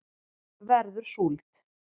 verður súld